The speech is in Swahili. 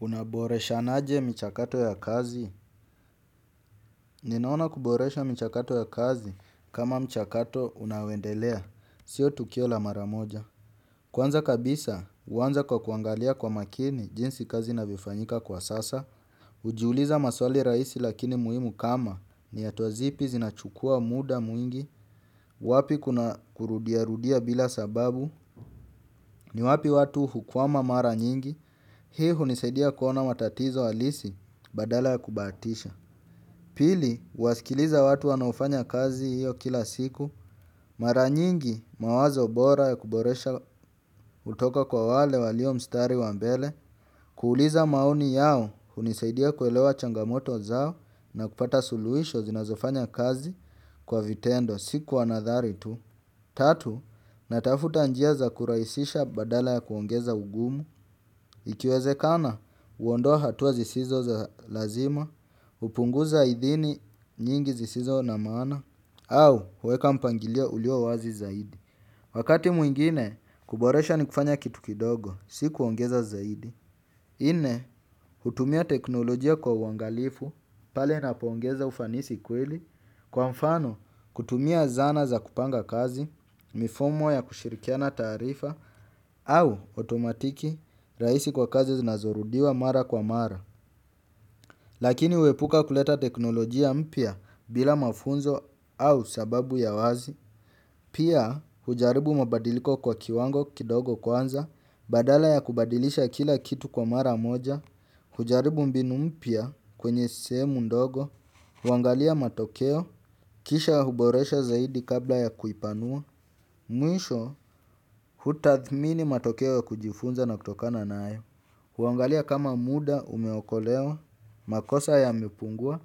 Unaboreshanaje mchakato ya kazi? Ninaona kuboresha michakato ya kazi kama mchakato unaoendelea. Sio tukio la maramoja. Kwanza kabisa, huwanza kwa kuangalia kwa makini jinsi kazi inavyofanyika kwa sasa. Ujiuliza maswali rahisi lakini muhimu kama. Ni hatua zipi zinachukua muda mwingi. Wapi kuna kurudiarudia bila sababu. Ni wapi watu hukwama mara nyingi. Hii hunisaidia kuona matatizo halisi badala ya kubaatisha. Pili, huwasikiliza watu wanaofanya kazi hiyo kila siku. Mara nyingi mawazo bora ya kuboresha hutoka kwa wale walio mstari wa mbele. Kuuliza maoni yao hunisaidia kuelewa changamoto zao na kupata suluhisho zinazofanya kazi kwa vitendo si kwa nathari tu. Tatu, natafuta njia za kurahisisha badala ya kuongeza ugumu. Ikiwezekana, huondoa hatua zisizo za lazima, hupunguza idhini nyingi zisizo na maana, au huweka mpangilio ulio wazi zaidi. Wakati mwingine, kuboresha ni kufanya kitu kidogo, si kuongeza zaidi. Nne, hutumia teknolojia kwa wangalifu, pale napoongeza ufanisi kweli, kwa mfano kutumia zana za kupanga kazi, mifumo ya kushirikiana taarifa au otomatiki rahisi kwa kazi zinazorudiwa mara kwa mara lakini huepuka kuleta teknolojia mpya bila mafunzo au sababu ya wazi pia hujaribu mabadiliko kwa kiwango kidogo kwanza badala ya kubadilisha kila kitu kwa mara moja hujaribu mbinu mpya kwenye sehemu ndogo. Huangalia matokeo, kisha huboresha zaidi kabla ya kuipanua. Mwisho, hutathmini matokeo ya kujifunza na kutokana nayo. Huangalia kama muda umeokolewa, makosa yamepungua.